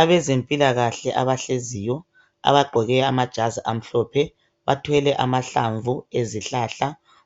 Abezempilakahle abahleziyo abagqoke amajazi amhlophe bathwele amahlamvu